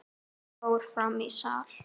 Hann fór fram í sal.